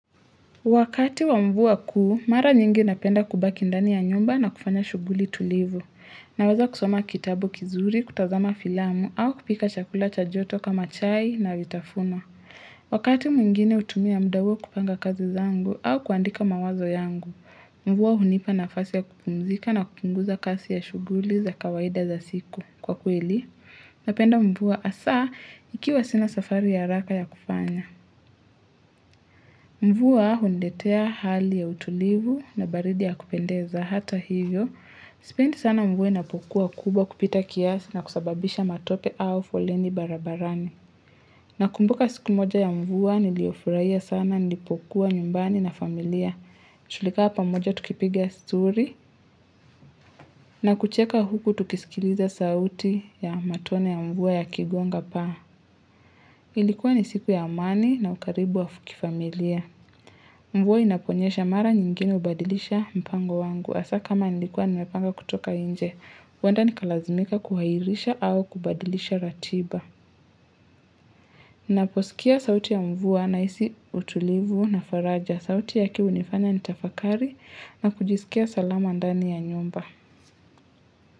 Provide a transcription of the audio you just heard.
Wakati wa mvua kuu, mara nyingi napenda kubaki ndani ya nyumba na kufanya shughuli tulivu. Naweza kusoma kitabu kizuri, kutazama filamu au kupika chakula cha joto kama chai na vitafuno. Wakati mwingine hutumia mda huo kupanga kazi zangu au kuandika mawazo yangu, mvua hunipa nafasi ya kupumzika na kupunguza kasi ya shughuli za kawaida za siku. Kwa kweli, napenda mvua hasaa ikiwa sina safari ya haraka ya kufanya. Mvua huniletea hali ya utulivu na baridi ya kupendeza hata hivyo. Sipendi sana mvua wa inapokuwa kubwa kupita kiasi na kusababisha matope au foleni barabarani. Nakumbuka siku moja ya mvua wa niliofuraia sana nilipokuwa nyumbani na familia. Tulikaa pamoja tukipiga stori na kucheka huku tukisikiliza sauti ya matone ya mvua yakigonga paa. Ilikuwa ni siku ya amani na ukaribu wa fu kifamilia. Mvua inaponyesha mara nyingine hubadilisha mpango wangu. Hasaa kama nilikuwa nimepanga kutoka nje, huenda nikalazimika kuhairisha au kubadilisha ratiba. Naposikia sauti ya mvua nahisi utulivu na faraja. Sauti yake hunifanya nitafakari na kujisikia salama ndani ya nyumba.